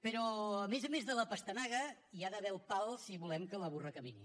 però a més a més de la pastanaga hi ha d’haver el pal si volem que la burra camini